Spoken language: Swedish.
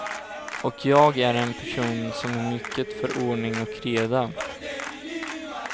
Och jag är en person som är mycket för ordning och reda.